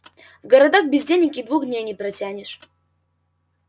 в городах без денег и двух дней не протянешь